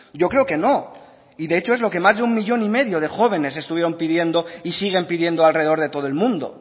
yo creo que no y de hecho es lo que más de un millón y medio de jóvenes estuvieron pidiendo y siguen pidiendo alrededor de todo el mundo